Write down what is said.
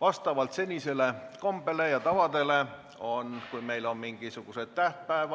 Vastavalt senisele kombele on nii, et kui meil on mingisugune tähtpäev,